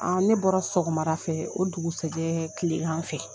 An ne bɔra sɔgɔmadafɛ o dugusajɛ kilegan fɛ